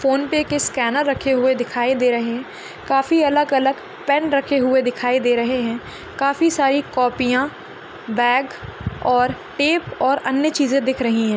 Phone पे के scanner रखे हुए दिखाई दे रहे है काफी अलग अलग पेन रखे हुए दिखाई दे रहे है काफी अलग अलग पेन रखे हुए दिखाई दे रहे है काफी सारी कॉपियाँ बेग और टेप और अन्य चीज़े दिख रही है।